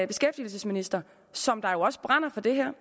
beskæftigelsesminister som jo også brænder for det her